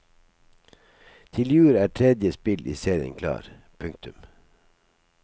Til jul er tredje spill i serien klar. punktum